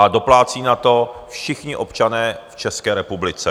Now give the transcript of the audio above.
A doplácí na to všichni občané v České republice.